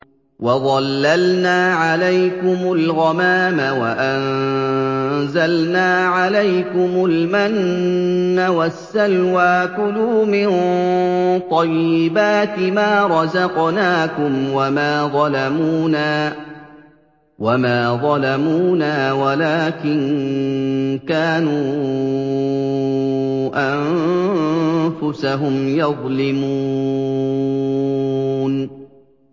وَظَلَّلْنَا عَلَيْكُمُ الْغَمَامَ وَأَنزَلْنَا عَلَيْكُمُ الْمَنَّ وَالسَّلْوَىٰ ۖ كُلُوا مِن طَيِّبَاتِ مَا رَزَقْنَاكُمْ ۖ وَمَا ظَلَمُونَا وَلَٰكِن كَانُوا أَنفُسَهُمْ يَظْلِمُونَ